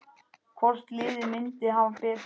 Hvort liðið myndi hafa betur?